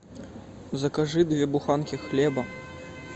закажи две буханки хлеба